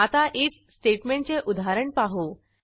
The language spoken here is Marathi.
आता आयएफ स्टेटमेंटचे उदाहरण पाहू